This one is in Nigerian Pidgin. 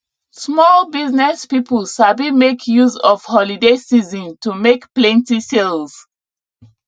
small business people sabi make use of holiday season to make plenty sales